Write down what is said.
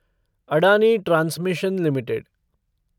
Adani transmission limited